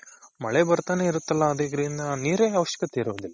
ಮಳೆ ಬರ್ತಾನೆ ಇರುತ್ತಲ್ಲ ಅದ್ರಿಂದ ನೀರೇನು ಅವಶ್ಯಕತೆ ಇರೋದಿಲ್ಲ.